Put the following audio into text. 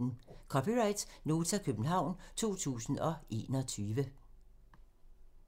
(c) Nota, København 2021